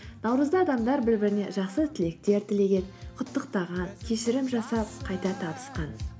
наурызда адамдар бір біріне жақсы тілектер тілеген құттықтаған кешірім жасап қайта табысқан